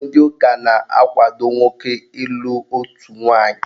Ndị ụka na-akwado nwoke ịlụ otu nwaanyị.